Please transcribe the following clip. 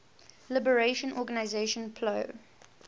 liberation organization plo